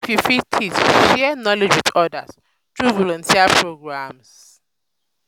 if um yu fit teach share um knowledge with odas tru volunteer programs.